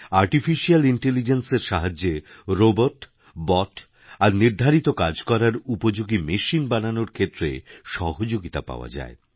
artificial ইন্টেলিজেন্সের সাহায্যে robot bot আরনির্ধারিত কাজ করার উপযোগী মেশিন বানানোর ক্ষেত্রে সহযোগিতা পাওয়া যায়